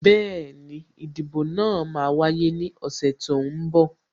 Bẹẹni, ìdìbò náà máa wáyé ní ọ̀sẹ̀ tó ń bọ̀